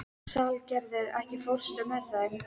Salgerður, ekki fórstu með þeim?